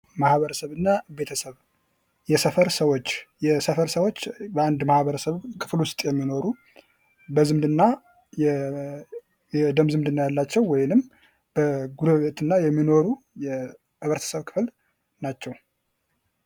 ቤተሰብ የማህበረሰብ መሰረታዊ ክፍል በመሆን ለግለሰቦች የመጀመሪያውን የትምህርትና የድጋፍ ማዕከል ይሰጣል።